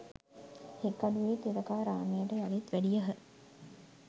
හික්කඩුවේ තිලකාරාමයට යළිත් වැඩියහ.